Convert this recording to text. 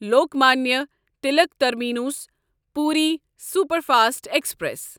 Lokmanya Tilak terminus Puri superfast express